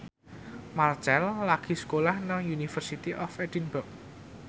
Marchell lagi sekolah nang University of Edinburgh